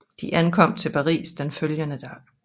De ankom til Paris den følgende dag